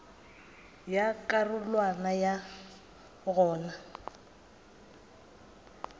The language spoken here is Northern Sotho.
ya ka karolwana ya goba